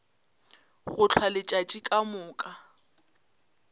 go hlwa letšatši ka moka